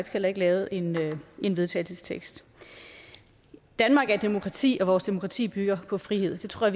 heller ikke lavet en en vedtagelsestekst danmark er et demokrati og vores demokrati bygger på frihed det tror